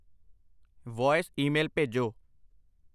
Voice email ਭੇਜੋ।